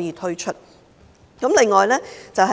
以推出更多工程。